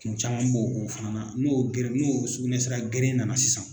Kun caman b'o fana na n'o geren n'o sugunɛsira geren nana sisan